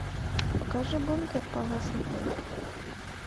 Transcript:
покажи бункер палас отель